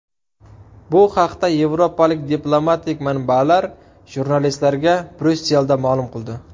Bu haqda yevropalik diplomatik manbalar jurnalistlarga Bryusselda ma’lum qildi.